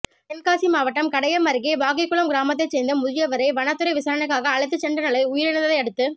தென்காசி மாவட்டம் கடையம் அருகே வாகைக்குளம் கிராமத்தைச் சேர்ந்த முதியவரை வனத்துறை விசாரணைக்காக அழைத்துச் சென்ற நிலையில் உயிரிழந்ததையடுத்து